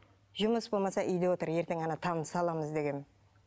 жұмыс болмаса үйде отыр ертең ана тамды саламыз дегенмін